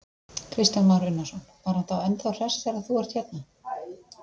Kristján Már Unnarsson: Var hann þá ennþá hress þegar þú ert hérna?